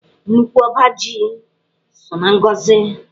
Nnukwu ọba ji so na ngọzị.